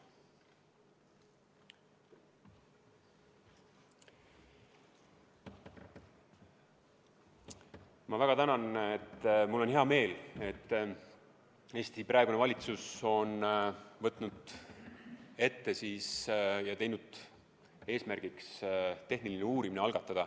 Ma väga tänan ja mul on hea meel, et Eesti praegune valitsus on võtnud eesmärgiks algatada tehniline uurimine.